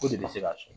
O de bɛ se ka sɔrɔ